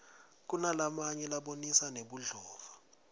kunalamanye abonisa nebudlova